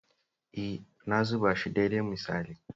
E, na zuba shi daidai misali